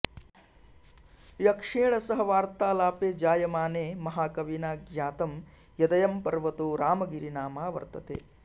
यक्षेण सह वार्तालापे जायमाने महाकविना ज्ञातं यदयं पर्वतो रामगिरिनामा वर्तते